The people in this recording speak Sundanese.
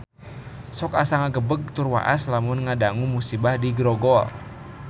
Sok asa ngagebeg tur waas lamun ngadangu musibah di Grogol